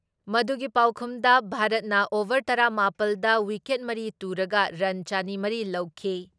ꯃꯗꯨꯒꯤ ꯄꯥꯎꯈꯨꯝꯗ ꯚꯥꯔꯠꯅ ꯑꯣꯚꯔ ꯇꯔꯥ ꯃꯥꯄꯜ ꯗ ꯋꯤꯀꯦꯠ ꯃꯔꯤ ꯇꯨꯔꯒ ꯔꯟ ꯆꯅꯤ ꯃꯔꯤ ꯂꯧꯈꯤ ꯫